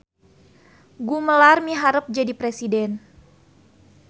Gumelar miharep jadi presiden